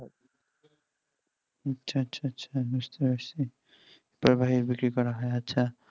আচ্ছা আচ্ছা বুঝতে পারছি তারপরে বিক্রি করা হয় আচ্ছা